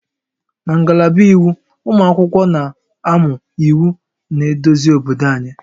Na ngalaba Iwu, ụmụ akwụkwọ na-amụ iwu na-eduzi obodo anyị